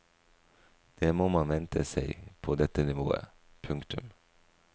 Det må man vente seg på dette nivået. punktum